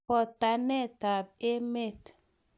Botanetab emet.